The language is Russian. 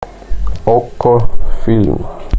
окко фильм